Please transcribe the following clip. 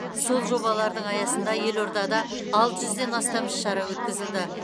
сол жобалардың аясында елордада алты жүзден астам іс шара өткізілді